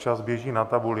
Čas běží na tabuli.